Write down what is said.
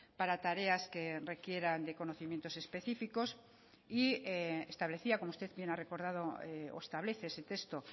para tareas que requieran de conocimientos específicos y establecía como usted bien ha recordado o establece ese texto